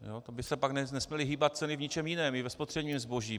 To by se pak nesměly hýbat ceny v ničem jiném, i ve spotřebním zboží.